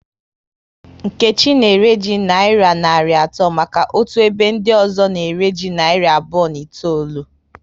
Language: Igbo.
Nkechi na ere ji nayira narị atọ maka otu ebe ndị ọzọ na ere ji narị abụọ na itoolu